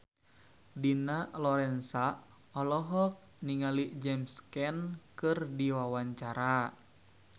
Dina Lorenza olohok ningali James Caan keur diwawancara